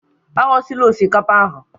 Aghọsila osikapa ahụ!